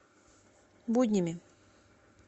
буднями